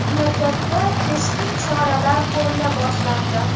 Mamlakatda keskin choralar ko‘rila boshlandi.